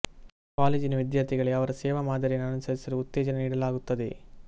ಕಾಲೇಜಿನ ವಿದ್ಯಾರ್ಥಿಗಳಿಗೆ ಅವರ ಸೇವಾ ಮಾದರಿಯನ್ನು ಅನುಸರಿಸಲು ಉತ್ತೇಜನ ನೀಡಲಾಗುತ್ತದೆ